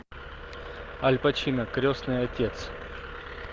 аль пачино крестный отец